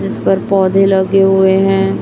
इस पर पौधे लगे हुए हैं।